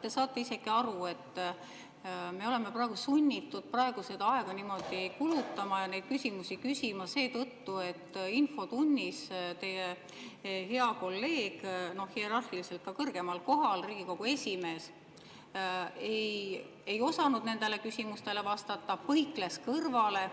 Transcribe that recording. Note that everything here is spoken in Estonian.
Te saate isegi aru, et me oleme sunnitud praegu aega kulutama ja neid küsimusi küsima seetõttu, et infotunnis teie hea kolleeg, kes on hierarhiliselt teist kõrgemal kohal, Riigikogu esimees, ei osanud nendele küsimustele vastata, põikles neist kõrvale